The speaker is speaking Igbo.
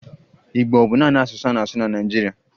Igbo ọ bụ naanị asụsụ a na-asụ na Naịjirịa?